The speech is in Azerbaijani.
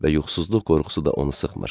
Və yuxusuzluq qorxusu da onu sıxmır.